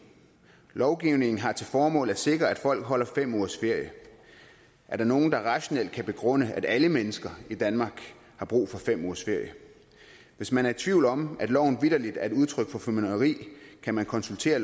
lovgivningen har til formål at sikre at folk holder fem ugers ferie er der nogen der rationelt kan begrunde at alle mennesker i danmark har brug for fem ugers ferie hvis man er i tvivl om at loven vitterlig er et udtryk for formynderi kan man konsultere